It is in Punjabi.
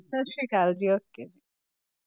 ਸਤਿ ਸ੍ਰੀ ਅਕਾਲ ਜੀ okay